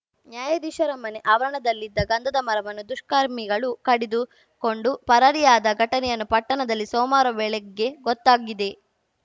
ನ್ಯಾಯಾಧೀಶರ ಮನೆ ಆವರಣದಲ್ಲಿದ್ದ ಗಂಧದ ಮರವನ್ನು ದುಷ್ಕರ್ಮಿಗಳು ಕಡಿದು ಕೊಂಡು ಪರಾರಿಯಾದ ಘಟನೆ ಪಟ್ಟಣದಲ್ಲಿ ಸೋಮವಾರ ಬೆಳಗ್ಗೆ ಗೊತ್ತಾಗಿದೆ